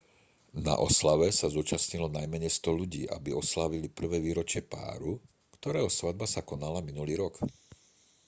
na oslave sa zúčastnilo najmenej 100 ľudí aby oslávili prvé výročie páru ktorého svadba sa konala minulý rok